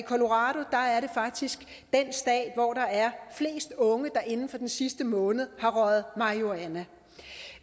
colorado er faktisk den stat hvor der er flest unge der inden for den sidste måned har røget marihuana